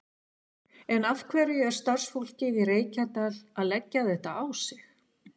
En af hverju er starfsfólkið í Reykjadal að leggja þetta á sig?